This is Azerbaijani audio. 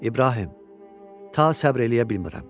İbrahim, ta səbr eləyə bilmirəm.